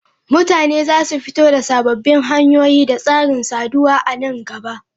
Mutane za su fito da sababbin hanyoyi da tsarin saduwa a nan gaba.